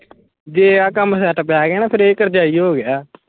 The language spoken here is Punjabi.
ਜੇ ਆ ਕੰਮ set ਬਹਿ ਗਿਆ ਨਾ ਫਿਰ ਇਹ ਕਰਜਾਈ ਹੋਗਿਆ